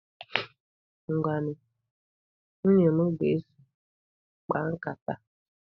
Ngwanu, nwunye m ga-eso, kpaa nkata.